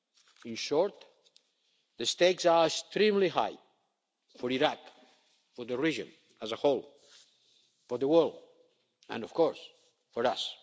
beyond. In short, the stakes are extremely high for Iraq, for the region as a whole, for the world and, of course,